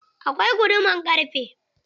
Akwai guduman ƙarfe.